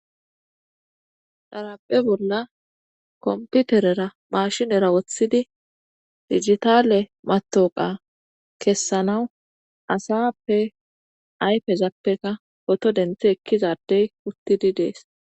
Dharape bolla komputerera maashinera woththidi digitale matoqa kessanawu asappe ayfezappeka poto denthi ekkizadey uttidi dees.